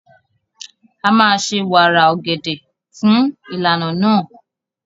A máa ṣe wàrà ọ̀gẹ̀dẹ̀ fún ìlànà náà.